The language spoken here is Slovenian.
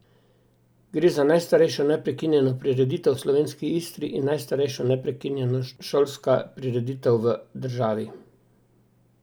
Gre za najstarejšo neprekinjeno prireditev v slovenski Istri in najstarejšo neprekinjena šolska prireditev v državi.